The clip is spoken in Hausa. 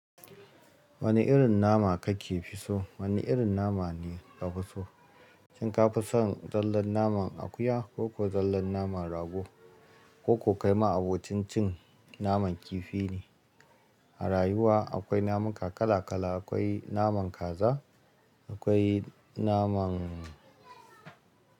Wane irin nama kake fi so? Wane irin nama ne ka fi so? Shin ka fi son zallan naman akuya ko ko zallan naman rago ko kai ma abincin cin naman kifi ne? A rayuwa akwai naman kala-kala, akwai naman kaza, akwai naman.